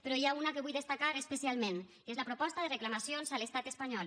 però n’hi ha una que vull destacar especialment i és la proposta de reclamacions a l’estat espanyol